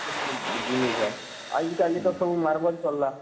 ଯେତକିରି ଆଉ ଇଟା ଇଟା ସବୁ Marble ଚଲଲା